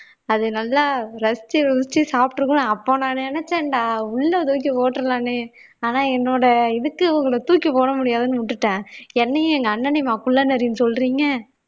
அது நல்லா ரசிச்சு ருசிச்சு சாப்பிட்டு இருக்கணும் அப்ப நான் நினைச்சேன்டா உள்ள தூக்கி போட்டுறலான்னு ஆனா என்னோட இதுக்கு உங்களை தூக்கி போட முடியாதுன்னு விட்டுட்டேன் என்னையும் எங்க அண்ணனையும்மா குள்ளநரின்னு சொல்றீங்க